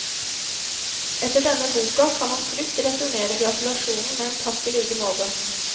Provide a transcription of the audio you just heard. Etter denne boka kan han trygt returnere gratulasjonen med en takk i like måte.